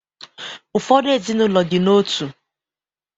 Ụfọdụ ezinụlọ dị n’otu